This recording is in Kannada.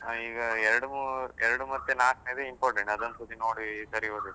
ಹ ಈಗ ಎರಡ್ಮೂರು, ಎರಡ್ ಮತ್ತೆ ನಾಲ್ಕ್ನೆದು important ಅದೊಂದು ಸರ್ತಿ ನೋಡಿ ಸರಿ ಓದ್ಬೇಕು.